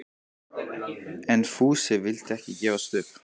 En Fúsi vildi ekki gefast upp.